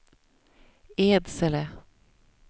Edsele